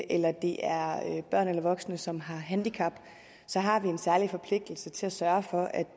eller det er børn eller voksne som har handicap så har vi en særlig forpligtelse til at sørge for at